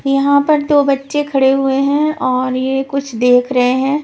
यहां पर दो बच्चे खड़े हुए हैं और ये कुछ देख रहे हैं.